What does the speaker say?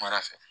Mara fɛ